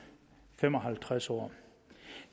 fem og halvtreds år